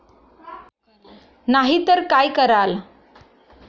नाही तर काय कराल?